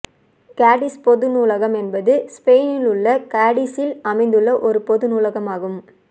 காடிஸ் பொது நூலகம் என்பது ஸ்பெயினிலுள்ள காடிஸில் அமைந்துள்ள ஒரு பொது நூலகமாகும்